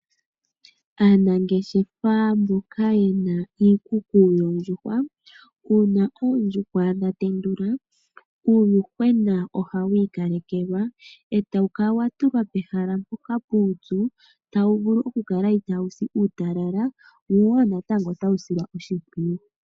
Aanangeshefa mboka yena iikuku yoondjuhwa uuna oondjuhwa dha tendula uuyuhwena ohawu ikalekelwa etawu kala wa tulwa pehala mpoka puupyu tawu vulu okukala itaawu si uutalala wo natango otawu silwa oshimpwiyu.